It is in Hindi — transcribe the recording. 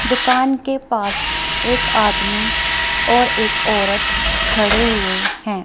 दुकान के पास एक आदमी और एक औरत खड़े हुए हैं।